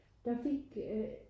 Der fik øh